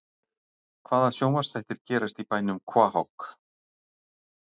Hvaða sjónvarpsþættir gerast í bænum Quahog?